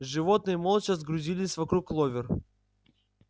животные молча сгрудились вокруг кловер